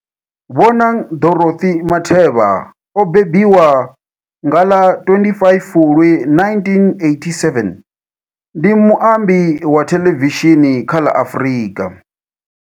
Bonang Dorothy Matheba o mbembiwa nga ḽa 25 Fulwi 1987, ndi muambi wa thelevishini kha la Afrika.